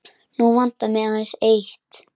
Nú vantar mig aðeins eitt!